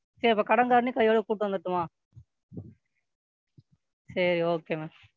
சரி அப்ப கடன்காரனையும் கையோட கூட்டிட்டு வந்துரட்டுமா செரி Okay ma'am,